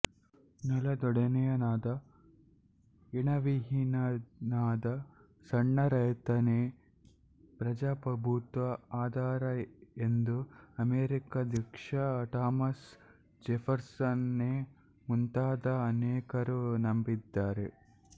ನೆಲದೊಡೆಯನಾದ ಋಣವಿಹೀನನಾದ ಸಣ್ಣ ರೈತನೇ ಪ್ರಜಾಪ್ರಭುತ್ವದ ಆಧಾರ ಎಂದು ಅಮೆರಿಕಾಧ್ಯಕ್ಷ ಥಾಮಸ್ ಜೆಫರ್ಸನನೇ ಮುಂತಾದ ಅನೇಕರು ನಂಬಿದ್ದರು